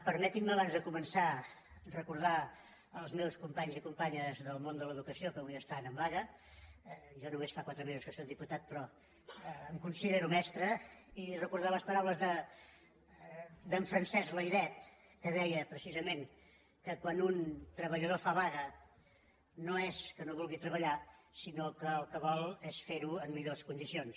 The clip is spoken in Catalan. permetin·me abans de començar recordar els meus companys i companyes del món de l’educació que avui estan en vaga jo només fa quatre mesos que sóc diputat però em considero mestre i recordar les paraules d’en francesc layret que deia precisament que quan un treballador fa vaga no és que no vulgui treballar sinó que el que vol és fer·ho en millors con·dicions